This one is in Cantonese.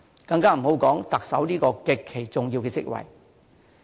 更不用說特首這個極其重要的職位。